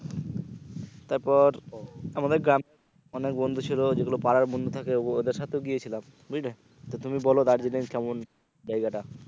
তারপর আমাদের গ্রাম অনেক বন্ধু ছিলো যেগুলো পারার বন্ধু থাকে ওদের সাথেও গিয়েছিলাম বুঝলে তো তুমি বলো দার্জিলিং কেমন জায়গা টা?